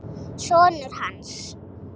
Sonur hans!